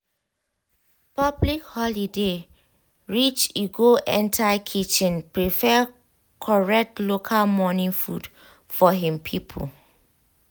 public holiday reach e go enter kitchen prepare correct local morning food for him people.